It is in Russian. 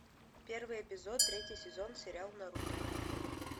первый эпизод третий сезон сериал наруто